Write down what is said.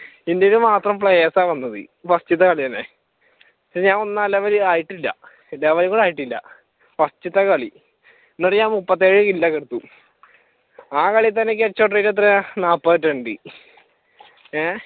ഇന്ത്യയിൽ മാത്രം players ആഹ് വന്നത് ഫാർസ്റ്റത്തെ കളിതന്നെ പക്ഷെ ഞാൻ ഒന്ന് ആഹ് level ആയിട്ടില്ല ലെവലും കൂടെ ആയിട്ടില്ല ഫാർസ്റ്റത്തെ കളി അകം മുപ്പത്തേഴ് ജില്ല കളിച്ചു ആഹ് കളിയിൽ തന്നെ എനിക്ക് എത്രയാ നാൽപ്പത് twenty ഏഹ്